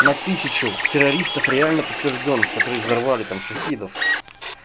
на тысячу террористов реально подтверждённых которые взорвали там шахидов